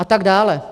A tak dále.